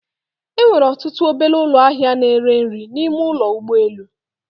Enwere ọtụtụ obele ụlọ ahịa na ere nri n'ime ụlọ ụgbọ elu